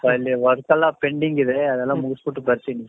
ಸ್ವಲ್ಪ ಇಲ್ಲಿ work ಎಲ್ಲ pending ಇದೆ ಅದೆಲ್ಲಾ ಮುಗಿಸ್ಬಿಟು ಬರ್ತೀನಿ